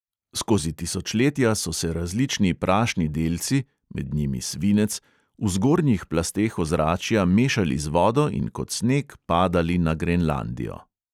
Skozi tisočletja so se različni prašni delci (med njimi svinec) v zgornjih plasteh ozračja mešali z vodo in kot sneg padali na grenlandijo.